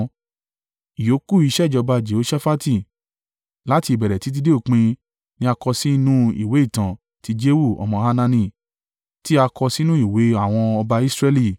Ìyókù iṣẹ́ ìjọba Jehoṣafati, láti ìbẹ̀rẹ̀ títí dé òpin, ni a kọ sí inú ìwé ìtàn ti Jehu ọmọ Hanani, tí a kọ sí inú ìwé àwọn ọba Israẹli.